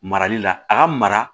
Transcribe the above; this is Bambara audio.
Marali la a ka mara